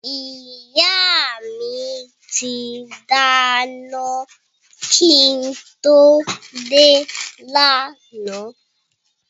Ìyá mi ti dáná kí n tó dé lánàá